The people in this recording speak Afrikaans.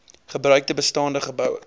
gebruikte bestaande geboue